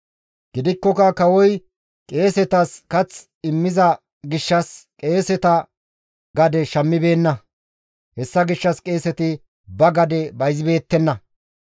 Gidikkoka kawoy qeesetas kath immiza gishshas qeeseta gade shammibeenna. Hessa gishshas qeeseti ba gade bayzibeettenna.